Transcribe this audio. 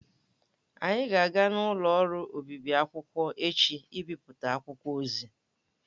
Anyị ga-aga n'ụlọ ọrụ obịbị akwụkwọ echi ịbịpụta akwụkwọ ozi.